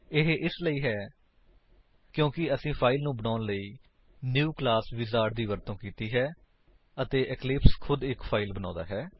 ਇਹ ਇਸਲਈ ਕਿਉਂਕਿ ਅਸੀਂ ਫਾਇਲ ਨੂੰ ਬਣਾਉਣ ਲਈ ਨਿਊ ਕਲਾਸ ਵਿਜ਼ਾਰਡ ਦੀ ਵਰਤੋ ਕੀਤੀ ਹੈ ਅਤੇ ਇਕਲਿਪਸ ਖੁਦ ਇੱਕ ਫਾਇਲ ਬਣਾਉਂਦਾ ਹੈ